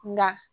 Na